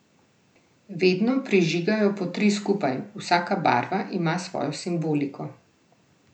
Vedno prižigajo po tri skupaj, vsaka barva ima svojo simboliko.